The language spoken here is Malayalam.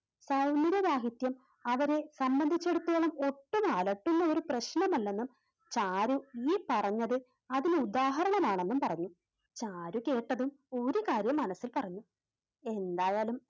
സൗന്ദര്യ ദാഹത്യം അവരെ സംബന്ധിച്ചിടത്തോളം ഒട്ടും അലട്ടുന്ന ഒരു പ്രശ്നമല്ലെന്നും ചാരു ഈ പറഞ്ഞത് അതിനുദാഹരണം ആണെന്നും പറഞ്ഞു. ചാരു കേട്ടതും ഒരു കാര്യം മനസ്സിൽ പറഞ്ഞു. എന്തായാലും